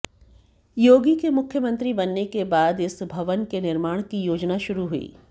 योगी के मुख्यमंत्री बनने के बाद इस भवन के निर्माण के योजना शुरू हुई